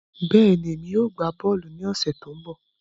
Bẹ́ẹ̀ni, èmi yóò gbá bọ́ọ̀lù ní ọ̀sẹ̀ tó ń bọ̀